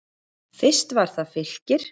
Fyrst var það Fylkir.